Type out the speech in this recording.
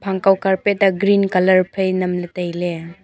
phang kaw carpet a green colour phai nam ley tai ley.